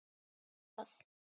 Það er nú það.